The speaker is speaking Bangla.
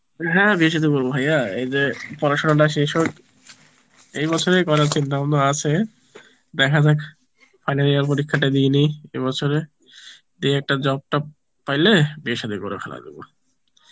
হ্যাঁ বিয়ে সাদি করব ভাইয়া পরাসনা টা শেষ হোক এই বছরেই করার চিন্তাভাবনা আছে, দেখা যাক final year পরীক্ষাটা দিয়ে নি এ বছর এ দিয়ে একটা job টব পাইলে বিয়ে সাদি করিয়ে ফেলাই দিব